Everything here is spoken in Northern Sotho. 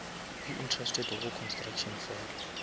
be interested go construction fela